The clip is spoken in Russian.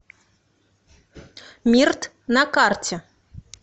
мирт на карте